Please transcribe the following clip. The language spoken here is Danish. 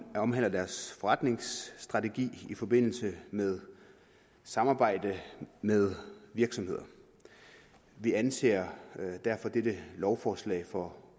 omhandler deres forretningsstrategi i forbindelse med samarbejde med virksomheder vi anser derfor dette lovforslag for